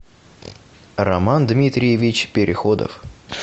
роман дмитриевич переходов